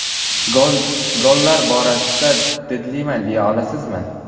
Gollar borasida didliman deya olasizmi?